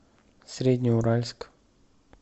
среднеуральск